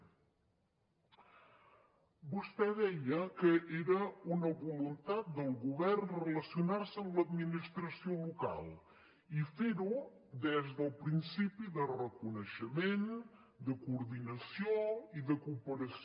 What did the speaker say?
vostè deia que era una voluntat del govern relacionar se amb l’administració local i fer ho des del principi de reconeixement de coordinació i de cooperació